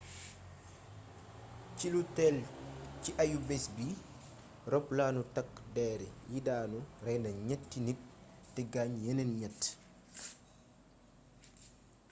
ci lu tél ci ayubés bi roppalaanu takk dér yi daanu rayna ñétti nit té gaañ yéneen ñett